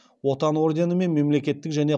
отан орденімен мемлекеттік және